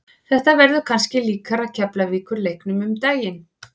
Þetta verður kannski líkara Keflavíkur leiknum um daginn.